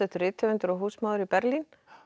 rithöfundur og húsmóðir í Berlín